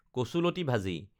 কচুলতি ভাজি